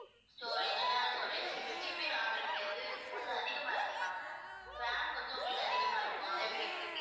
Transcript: storage internal storage six GB ram இருக்கு அது இதுக்கு கொஞ்சம் அதிகமா இருக்கு ma'am ram கொஞ்சம் உங்களுக்கு அதிகமா இருக்கும் அதைவிட